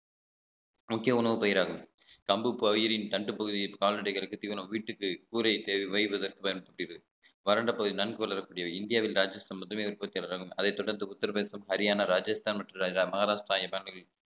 முக்கிய உணவு பயிராகும் கம்பு பயிரின் தண்டு பகுதியில் கால்நடைகளுக்கு தீவனம் வீட்டுக்கு கூரை தேவை வைவதற்கு பயன்படுத்தியது வரண்ட பகுதி நன்கு வளரக்கூடிய இந்தியாவில் ராஜஸ்தான் முதலிய உற்பத்தியாளராகும் அதைத் தொடர்ந்து உத்தரபிரதேசம் ஹரியானா ராஜஸ்தான் மற்றும் ராஜா~ மகாராஷ்டிராவில்